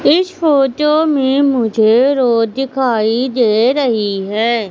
इस फोटो में मुझे रोड दिखाई दे रही है।